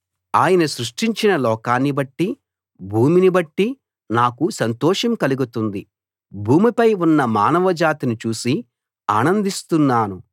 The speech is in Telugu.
ఆయన సృష్టించిన లోకాన్నిబట్టి భూమిని బట్టి నాకు సంతోషం కలుగుతుంది భూమిపై ఉన్న మానవ జాతిని చూసి ఆనందిస్తున్నాను